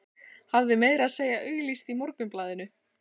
Hafði meira að segja auglýst í Morgunblaðinu.